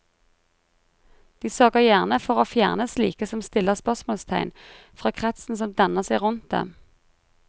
De sørger gjerne for å fjerne slike som stiller spørsmålstegn, fra kretsen som danner seg rundt dem.